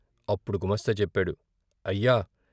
అప్పుడు గుమాస్తా చెప్పాడు " అయ్యా!